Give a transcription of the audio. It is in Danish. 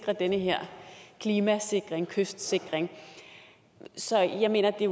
for den her klimasikring kystsikring så jeg mener det